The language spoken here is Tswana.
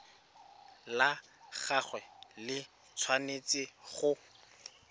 la gagwe le tshwanetse go